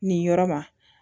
Nin yɔrɔ ma